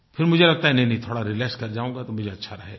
फिर मुझे लगता है नहींनहीं थोड़ा रिलैक्स कर जाऊँगा तो मुझे अच्छा रहेगा